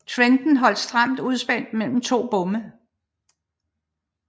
Trenden holdes stramt udspændt mellem de to bomme